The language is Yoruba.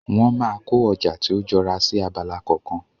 Wọ́n máa kó ọjà tí ó jọra sí abala kọ̀ọ̀kan.